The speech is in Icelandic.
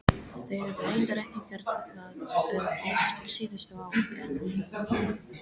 Þau höfðu reyndar ekki gert það oft síðustu ár en